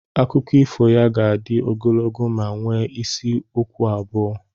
Akụkọ ifo ya ga-adị ogologo ma nwee isi okwu abụọ.